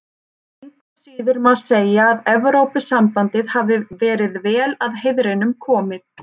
Engu að síður má segja að Evrópusambandið hafi verið vel að heiðrinum komið.